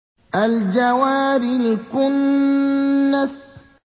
الْجَوَارِ الْكُنَّسِ